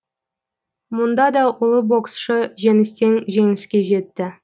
мұнда да ұлы боксшы жеңістен жеңіске жетті